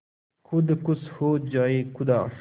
खुद खुश हो जाए खुदा